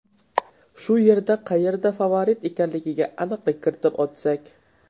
Shu yerda qayerda favorit ekanligiga aniqlik kiritib o‘tsak.